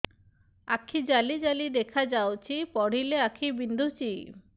ଆଖି ଜାଲି ଜାଲି ଦେଖାଯାଉଛି ପଢିଲେ ଆଖି ବିନ୍ଧୁଛି